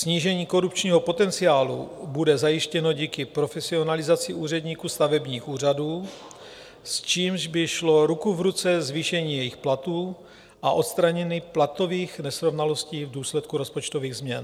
Snížení korupčního potenciálu bude zajištěno díky profesionalizaci úředníků stavebních úřadů, s čímž by šlo ruku v ruce zvýšení jejich platů a odstranění platových nesrovnalostí v důsledku rozpočtových změn.